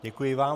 Děkuji vám.